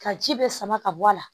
Ka ji bɛɛ sama ka bɔ a la